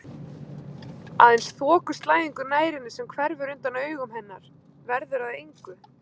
Aðeins þokuslæðingur nær henni sem hverfur undan augum hennar, verður að engu.